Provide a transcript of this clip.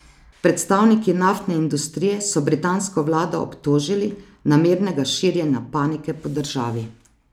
Predstavniki naftne industrije so britansko vlado obtožili namernega širjenja panike po državi.